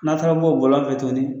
N'a taara bɔ o bɔlɔn fɛ tuguni.